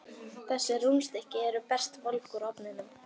Þessi rúnstykki eru best volg úr ofninum.